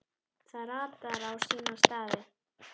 Það ratar á sína staði.